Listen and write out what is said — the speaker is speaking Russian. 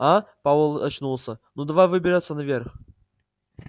а пауэлл очнулся ну давай выбираться наверх